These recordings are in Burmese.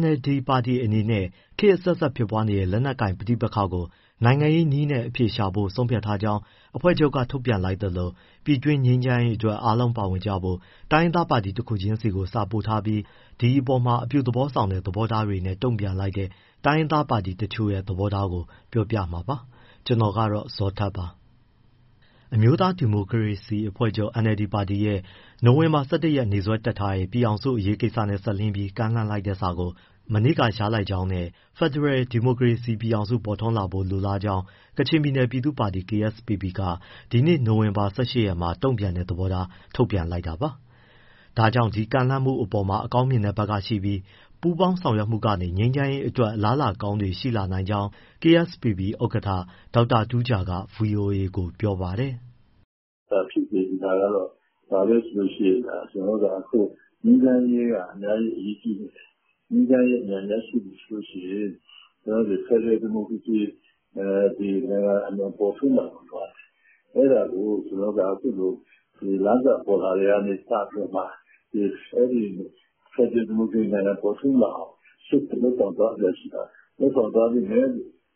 NLD ပါတီအနေနဲ့ ခေတ်အဆက်ဆက် ဖြစ်ပွားနေတဲ့ လက်နက်ကိုင် ပဋိပက္ခကို နိုင်ငံရေးနည်းနဲ့ အဖြေရှာဖို့ ဆုံးဖြတ်ထားကြောင်း အဖွဲ့ချုပ်က ထုတ်ပြန်လိုက်သလို ပြည်တွင်းငြိမ်းချမ်းရေးအတွက် အားလုံးပါဝင်ကြဖို့ တိုင်းရင်းသားပါတီ တခုချင်းဆီကို စာပေးပို့ထားပြီး ဒီအပေါ်မှာ အပြုသဘောဆောင်တဲ့ သဘောထားတွေနဲ့ တုံ့ပြန်လိုက်တဲ့ တိုင်းရင်းသားပါတီတချို့ရဲ့ သဘောထားကို ပြောပြမှာပါ။ ဗွီအိုအေမြန်မာပိုင်းသတင်းထောက် ကိုဇော်ထက်က သတင်းပေးပို့ထားပါတယ်။ အမျိုးသားဒီမိုကရေစီအဖွဲ့ချုပ် NLD ပါတီရဲ့ နိုဝင်ဘာ ၁၁ ရက်နေ့စွဲတပ်ထားတဲ့ ပြည်ထောင်စု အရေးကိစ္စနဲ့စပ်လျဉ်းပြီး ကမ်းလှမ်းလိုက်တဲ့စာကို မနေ့က ရကြောင်းနဲ့ ဖက်ဒရယ်ဒီမိုကရေစီ ပြည်ထောင်စု ပေါ်ထွန်းလာဖို့ လိုလားကြောင်း ကချင်ပြည်နယ်ပြည်သူ့ပါတီ KSPP က ဒီနေ့ နိုဝင်ဘာ ၁၈ ရက်မှာ တုံ့ပြန်တဲ့ သဘောထား ထုတ်ပြန်လိုက်တာပါ။ ဒါကြောင့် ဒီကမ်းလှမ်းမှုအပေါ်မှာ အကောင်းမြင်တဲ့ဘက်ကရှိပြီးပူးပေါင်းဆောင်ရွက်မှုကနေ ငြိမ်းချမ်းရေးအတွက် အလားအလာကောင်းတွေ ရှိလာနိုင်ကြောင်း KSPP ဥက္ကဋ္ဌ ဒေါက်တာတူးဂျာက ဗွီအိုအေကို ပြောပါတယ်။ “ ဖြစ်စေချင်တာကတော့ ဘာလဲဆိုရင် ကျနော်တို့က အခု ငြိမ်းချမ်းရေးက အများကြီး အရေးကြီးနေတယ်၊ ငြိမ်းချမ်းရေး အမြန်ရရှိပြီဆိုရင် ဖက်ဒရယ် ဒီမိုကရေစီနိုင်ငံ အမြန်ပေါ်ထွန်းလာဖို့ လိုအပ်တယ်၊ အဲဒါကို ကျနော်တို့က အခုလို လမ်းစပေါ်လာတာကနေ စပြီးတော့မှ ဖက်ဒရယ် ဒီမိုကရေစီနိုင်ငံ ပေါ်ထွန်းလာအောင်ရှေ့လုပ်ဆောင်သွားစရာရှိတာတွေ လုပ်ဆောင်သွားချင်တယ်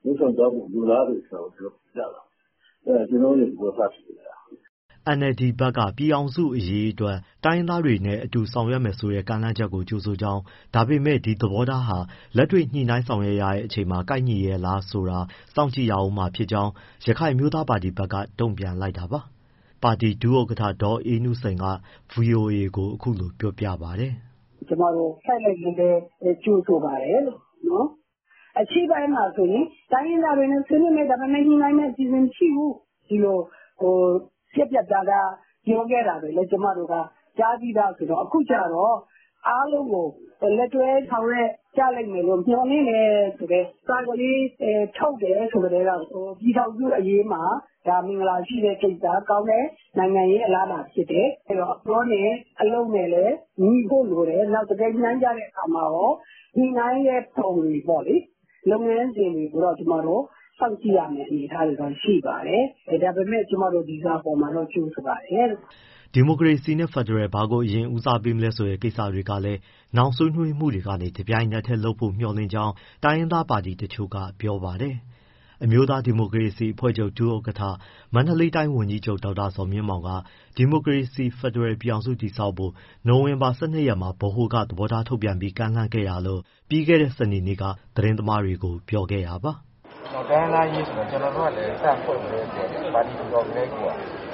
လို့၊ လုပ်ဆောင်သွားဖို့ လိုလားတယ်ဆိုတာကို ပြတာပါ။ အဲဒါက ကျနော်တို့ရဲ့ သဘောထား ဖြစ်တယ်ဗျ။” NLD ဘက်က ပြည်ထောင်စုအရေးအတွက် တိုင်းရင်းသားတွေနဲ့ အတူဆောင်ရွက်မယ်ဆိုတဲ့ ကမ်းလှမ်းချက်ကို ကြိုဆိုကြောင်း ဒါပေမဲ့ ဒီသဘောထားဟာ လက်တွေ့ ညှိနှိုင်းဆောင်ရွက်ရတဲ့အချိန်မှာ ကိုက်ညီရဲ့လားဆိုတာ စောင့်ကြည့်ရဦးမှာ ဖြစ်ကြောင်း ရခိုင်အမျိုးသားပါတီ ဘက်က တုံ့ပြန်လိုက်တာပါ။ ပါတီဒုဥက္ကဋ္ဌ ဒေါ်အေးနုစိန်က ဗွီအိုအေကို အခုလိုပြောပါတယ်။ “ ကျမတို့ လှိုက်လှိုက်လှဲလှဲ ကြိုဆိုပါတယ်လို့၊ အရှေ့ပိုင်းမှာဆိုရင် တိုင်းရင်းသားတွေနဲ့ ဆွေးနွေးမယ်၊ ညှိနှိုင်းမယ့်အစီအစဉ် မရှိဘူး၊ ဒီလို ပြတ်ပြတ်သားသား ပြောခဲ့တာတွေလည်း ကျမတို့က ကြားပြီးသားဆိုတော့ အခုကျတော့ အားလုံးကို လက်တွဲဆောင်ရွက် ကြလိမ့်မယ်လို့ မျှော်လင့်တယ် ဆိုတဲ့ စာကလေး ထုတ်တယ် ဆိုကတည်းက ပြည်ထောင်စုအရေးမှာ မင်္ဂလာရှိတဲ့ကိစ္စ ကောင်းတဲ့ နိုင်ငံရေး အလားအလာဖြစ်တယ်၊ အဲဒီတော့ အပြောနဲ့ အလုပ်နဲ့လည်း ညီဖို့လိုတယ်။ နောက်တကယ် ညှိနှိုင်းကြတဲ့အခါမှာရော ညှိနှိုင်းတဲ့ ဘောင်တွေပေါ့လေ လုပ်ငန်းစဉ်တွေကိုတော့ ကျမတို့ စောင့်ကြည့်ရမယ့် အနေအထားတွေတော့ ရှိပါတယ်။ ဒါပေမဲ့ ကျမတို့ ဒီစာအပေါ်မှာတော့ ကြိုဆိုပါတယ်လို့။” ဒီမိုကရေစီနဲ့ ဖက်ဒရယ် ဘာကို အရင်ဦးစားပေးမလဲဆိုတဲ့ ကိစ္စတွေကလည်း နောင်ဆွေးနွေးမှုတွေကနေ တပြိုင်နက်တည်းလုပ်နိုင်ဖို့ မျှော်လင့်ကြောင်း တိုင်းရင်းသား ပါတီတချို့က ပြောပါတယ်။ အမျိုးသား ဒီမိုကရေစီအဖွဲ့ချုပ် ဒုတိယ ဥက္ကဋ္ဌ၊ မန္တလေးတိုင်းဝန်ကြီးချုပ် ဒေါက်တာဇော်မြင့်မောင်က ဒီမိုကရေစီ ဖက်ဒရယ်ပြည်ထောင်စု တည်ဆောက်ဖို့အတွက် နိုဝင်ဘာ ၁၂ ရက်မှာ ဗဟိုက သဘောထားထုတ်ပြန်ပြီး ကမ်းလှမ်းခဲ့တာလို့ပြီးခဲ့တဲ့ စနေနေ့က သတင်းသမားတွေကို ပြောခဲ့တာပါ။ “ တိုင်းရင်းသားအရေးဆိုရင် ကျနော်တို့ကလည်း စဖွဲ့ကတည်းကိုက ပါတီထူထောင်ကတည်းကိုက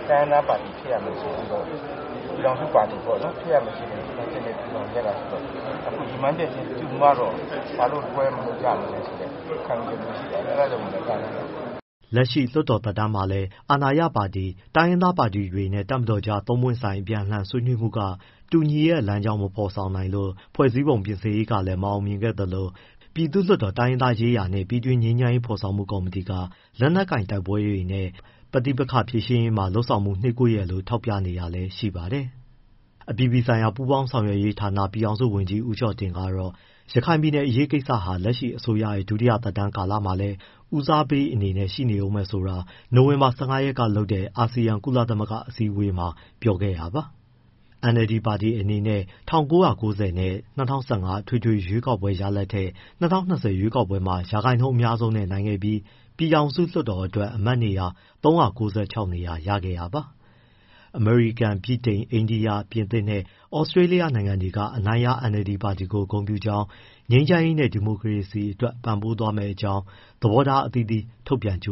တိုင်းရင်းသားပါတီဖြစ်ရမယ်ဆိုတဲ့၊ ပြည်ထောင်စုပါတီ ပေါ့နော် ဖြစ်ရမယ်ဆိုတဲ့ ရည်မှန်းချက်နဲ့ ထူထောင်ခဲ့တာဆိုတော့ အခု ရည်မှန်းချက်ချင်း တူမှတော့ ဘာလို့ခွဲပြီး လုပ်ကြမလဲဆိုတဲ့ ခံယူချက်မျိုးရှိတယ်၊ အဲဒါကြောင့်မို့လည်း ကမ်းလှမ်းတာပေါ့နော်။” လက်ရှိ လွှတ်တော်သက်တမ်းမှာလည်း အာဏာရပါတီ၊ တိုင်းရင်းသားပါတီတွေနဲ့ တပ်မတော်ကြား သုံးပွင့်ဆိုင် အပြန်အလှန် ဆွေးနွှေးမှုတွေက တူညီတဲ့ လမ်းကြောင်း မဖော်နိုင်လို့ ဖွဲ့စည်းပုံပြင်ဆင်ရေးကလည်း မအောင်မြင်ခဲ့သလို ပြည်သူ့လွှတ်တော် တိုင်းရင်းသားရေးရာနှင့် ပြည်တွင်း ငြိမ်းချမ်းရေး ဖော်ဆောင်မှုကော်မတီ က လက်နက်ကိုင်တိုက်ပွဲတွေနဲ့ ပဋိပက္ခဖြေရှင်းရေးမှာ လုပ်ဆောင်မှုတွေ နှေးကွေးတယ်လို့ ထောက်ပြနေတာလည်း ရှိပါတယ်။ အပြည်ပြည်ဆိုင်ရာ ပူးပေါင်းဆောင်ရွက်ရေးဌာန ပြည်ထောင်စုဝန်ကြီး ဦးကျော်တင်ကတော့ ရခိုင်ပြည်နယ် အရေးကိစ္စဟာ လက်ရှိအစိုးရရဲ့ ဒုတိယ သက်တမ်းကာလမှာလည်း ဦးစားပေးအနေနဲ့ ရှိနေဦးမယ်ဆိုတာ နိုဝင်ဘာ ၁၅ ရက်ကလုပ်တဲ့ အာဆီယံ- ကုလသမဂ္ဂအစည်းအဝေးမှာ ပြောခဲ့တာပါ။ NLD ပါတီအနေနဲ့ ၁၉၉၀ နဲ့ ၂၀၁၅ အထွေထွေ ရွေးကောက်ပွဲ ရလဒ်တွေထက် ၂၀၂၀ ရွေးကောက်ပွဲမှာ ရာခိုင်နှုန်းအများဆုံးနဲ့ နိုင်ခဲ့ပြီးပြည်ထောင်စု လွှတ်တော်အတွက် အမတ်နေရာ ၃၉၆ နေရာရခဲ့တာပါ။ အမေရိကန်၊ ဗြိတိန်၊ အိန္ဒိယ၊ ပြင်သစ်နဲ့ ဩစကြေးလျနိုင်ငံတွေက အနိုင်ရ NLD ပါတီကို ဂုဏ်ပြုကြောင်း၊ ငြိမ်းချမ်းရေးနဲ့ ဒီမိုကရေစီအတွက် ပံ့ပိုးသွားမယ့်အကြောင်း သဘောထား အသီးသီးထုတ်ပြန် ကြ